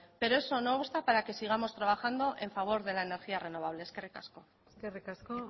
pero eso no obsta para que sigamos trabajando a favor de la energía renovable eskerrik asko eskerrik asko